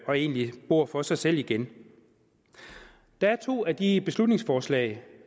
og egentlig bor for sig selv igen der er to af de beslutningsforslag